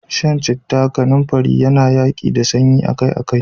Shan citta da kanumfari akai-akai yana yaƙi da sanyi.